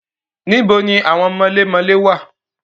Níbo ni àwọn mọlémọlẹ́ wà?